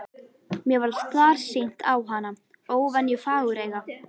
Mér varð starsýnt á hana, óvenju fagureyga.